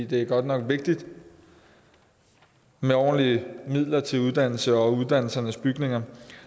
det er godt nok vigtigt med ordentlige midler til uddannelse og uddannelsernes bygninger